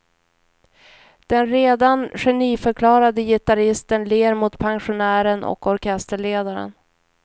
Den redan geniförklarade gitarristen ler mot pensionären och orkesterledaren.